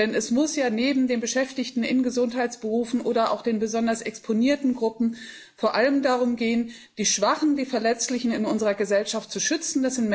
Denn es muss ja neben den Beschäftigten in Gesundheitsberufen oder auch den besonders exponierten Gruppen vor allem darum gehen, die Schwachen, die Verletzlichen in unserer Gesellschaft zu schützen.